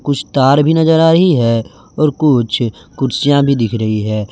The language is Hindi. कुछ तार भी नज़र आ रही है कुछ कुर्सियां भी दिख रही हैं।